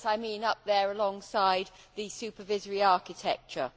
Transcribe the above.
Yes, I mean up there alongside the supervisory architecture.